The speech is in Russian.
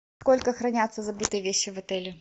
сколько хранятся забытые вещи в отеле